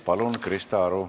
Palun, Krista Aru!